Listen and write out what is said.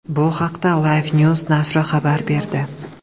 Bu haqda LifeNews nashri xabar berdi .